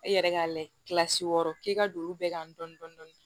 I yɛrɛ ka layɛ wɔɔrɔ k'i ka don olu bɛɛ kan dɔɔnin dɔɔnin